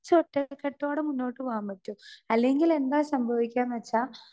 Speaker 2 ഒറ്റകെട്ടോടെ മുന്നോട്ട് പോകാൻ പറ്റും. അല്ലെങ്കിൽ എന്താ സംഭവിക്കാന്ന് വച്ചാ